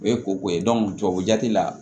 O ye koko ye tubabujati la